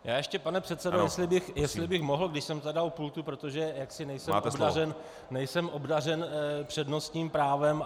Já ještě pane předsedo, jestli bych mohl, když jsem tedy u pultu, protože jaksi nejsem obdařen přednostním právem.